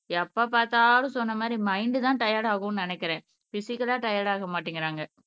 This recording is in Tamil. எப்ப பாத்தாலும் சொன்ன மாதிரி மைன்ட் தான் டையர்ட் ஆகும்ன்னு நினைக்கிறேன் பிஸிக்கல்லா டையர்ட் ஆக மாட்டைங்குறாங்க.